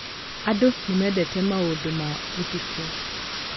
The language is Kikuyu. Andũ nĩ mendete maũndũ ma ũtukũ.